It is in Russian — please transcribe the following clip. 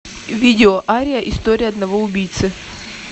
видео ария история одного убийцы